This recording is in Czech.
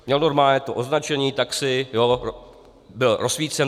Měl normálně to označení taxi, byl rozsvícen.